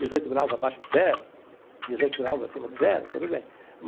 Dezoito graus abaixo de zero, dezoito graus acima de zero, tudo bem.